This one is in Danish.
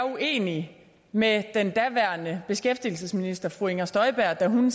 uenig med den daværende beskæftigelsesminister fru inger støjberg da hun